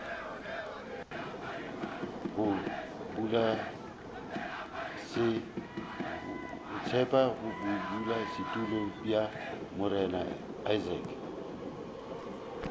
ga bodulasetulo bja morena isaacs